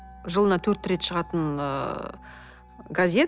жылына төрт рет шығатын ыыы газет